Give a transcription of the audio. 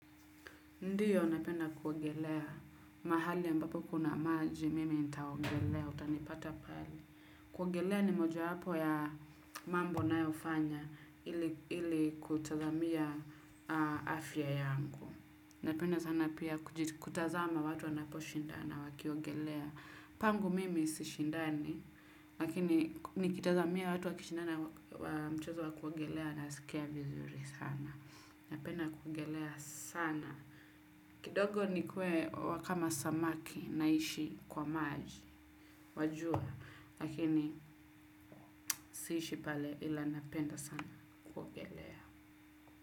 Ndiyo, napenda kuogelea. Mahali ambapo kuna maji, mimi nitaogelea, utanipata pale. Kuogelea ni moja wapo ya mambo nayofanya, ili kutazamia afya yangu. Napenda sana pia kutazama watu wanaposhindana wakiogelea. Pangu mimi si shindani, lakini nikitazamia watu wakishindana wa mchezo wa kuogelea nasikia vizuri sana. Napenda kuogelea sana. Kidogo nikuwe wa kama samaki naishi kwa maji wajua lakini siishi pale ila napenda sana kuogelea.